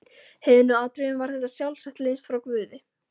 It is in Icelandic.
heiðnu atriðum var þetta sjálfsagt lengst frá guði.